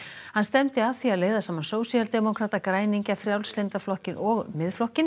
hann stefndi að því að leiða saman sósíaldemókrata græningja Frjálslynda flokkinn og Miðflokkinn